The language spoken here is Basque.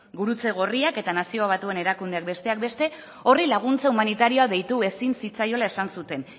gurutze gorriak eta nazio batuen erakundeak besteak beste horri laguntza humanitarioa deitu ezin zitzaiola esan zuten